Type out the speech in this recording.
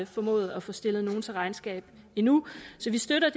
formået at få stillet nogen til regnskab endnu så vi støtter